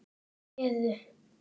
Þau réðu.